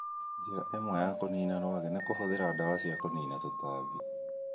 Njĩra ĩmwe ya kũniina rwagi nĩ kũhũthĩra ndawa cia kũniina tũtambi.